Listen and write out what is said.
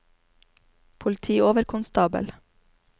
politioverkonstabel